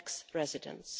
tax residents.